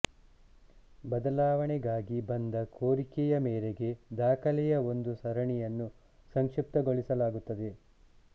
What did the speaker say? ಬದಲಾವಣೆಗಾಗಿ ಬಂದ ಕೋರಿಕೆಯ ಮೇರೆಗೆ ದಾಖಲೆಯ ಒಂದು ಸರಣಿಯನ್ನು ಸಂಕ್ಷಿಪ್ತಗೊಳಿಸಲಾಗುತ್ತದೆ